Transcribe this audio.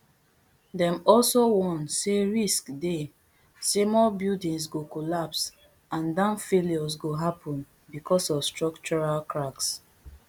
dem also warn say risk dey say more buildings go collapse and dam failures go happun bicos of structural cracks